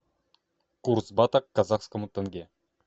курс бата к казахскому тенге